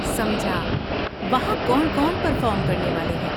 سمجھا، وہاں کون کون پرفارم کرنے والے ہیں؟